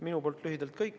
Minu poolt lühidalt kõik.